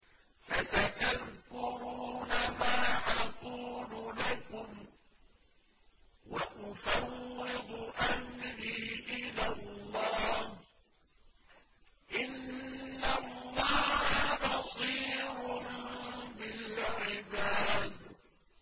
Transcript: فَسَتَذْكُرُونَ مَا أَقُولُ لَكُمْ ۚ وَأُفَوِّضُ أَمْرِي إِلَى اللَّهِ ۚ إِنَّ اللَّهَ بَصِيرٌ بِالْعِبَادِ